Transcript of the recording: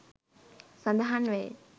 සඳහන් වෙයි